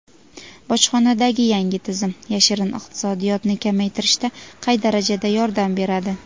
Bojxonadagi yangi tizim "yashirin iqtisodiyot"ni kamaytirishda qay darajada yordam beradi?.